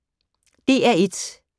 DR1